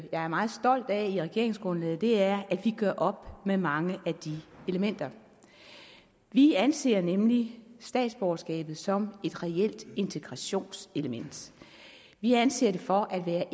jeg er meget stolt af i regeringsgrundlaget er at vi gør op med mange af de elementer vi anser nemlig statsborgerskabet som et reelt integrationselement vi anser det for at være